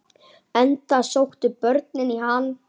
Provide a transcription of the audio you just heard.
Enda sóttu börnin í hann.